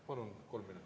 Palun kolm minutit.